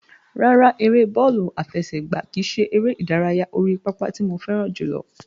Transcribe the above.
Rárá, ère bọ́ọ̀lù àfẹsẹ̀gbá kìí ṣe ère ìdárayá orí pápá tí mo fẹ́ràn jùlọ.